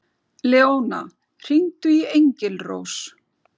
Leóna, hringdu í Engilrós.